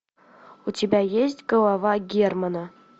у тебя есть голова германа